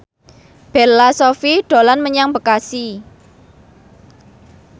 Bella Shofie dolan menyang Bekasi